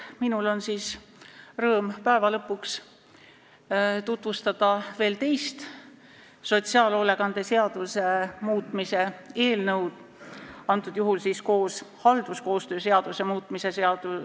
Minul on siis rõõm päeva lõpuks tutvustada veel teist eelnõu, millega muudetakse sotsiaalhoolekande seadust, seekord tehakse seda koos halduskoostöö seaduse muutmisega.